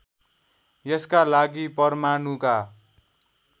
यसका लागि परमाणुका